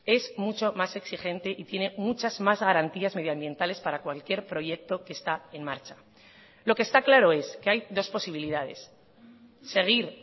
es mucho más exigente y tiene muchas más garantías medioambientales para cualquier proyecto que está en marcha lo que está claro es que hay dos posibilidades seguir